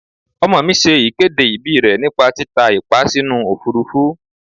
Ọmọ mi ṣe ìkéde ìbí rè nípa títa ìpá sínú Òfurufú.